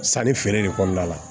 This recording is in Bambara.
Sanni feere de kɔnɔna la